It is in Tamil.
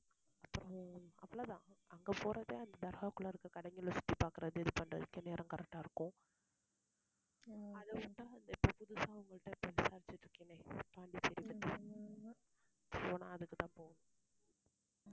அப்புறம் அவ்ளோதான் அங்க போறதே அந்த தர்காவுக்குள்ள இருக்க கடைங்களை சுத்தி பாக்கிறது அது பண்றதுக்கே நேரம் correct ஆ இருக்கும் அத உட்டா இப்ப புதுசா உங்கள்ட்ட இருந்து விசாரிச்சுட்டு இருக்கேனே, பாண்டிச்சேரி பத்தி போனா, அதுக்குத்தான் போவோம்.